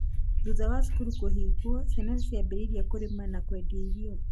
thutha wa cukuru kuhingwo, ciana ciambirĩirie kũrĩma na kũendea irio